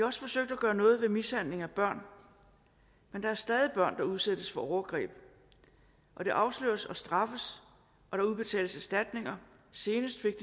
også forsøgt at gøre noget ved mishandling af børn men der er stadig væk børn der udsættes for overgreb og det afsløres og straffes og der udbetales erstatning senest fik